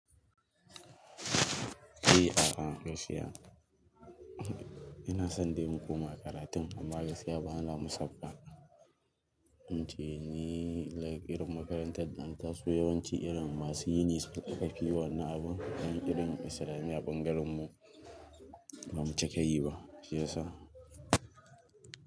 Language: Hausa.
Eh a'a, gaskiya. Ina son dai mu koma karatun amma gaskiya ba na musaffar. Ince ni like irin makarantar da ka san yawanci irin masu yini su ka fi yin wannan abun. Dan irin Islamiyya ɓangaren mu, ba mu cika yi ba. Shi yasa.